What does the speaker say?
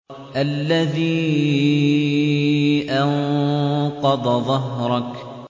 الَّذِي أَنقَضَ ظَهْرَكَ